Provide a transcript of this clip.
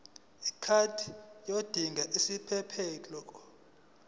card yodinga isiphephelok